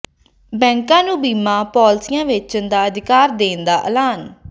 ਬੈਂਕਾਂ ਨੂੰ ਬੀਮਾ ਪਾਲਿਸੀਆਂ ਵੇਚਣ ਦਾ ਅਧਿਕਾਰ ਦੇਣ ਦਾ ਐਲਾਨ